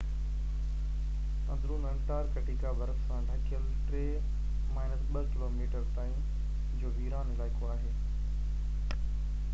اندرون انٽارڪٽيڪا برف سان ڍڪيل 2-3 ڪلوميٽر تائين جو ويران علائقو آهي